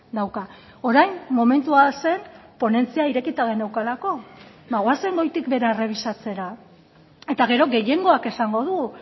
dauka orain momentua zen ponentzia irekita geneukalako ba goazen goitik behera errebisatzera eta gero gehiengoak esango du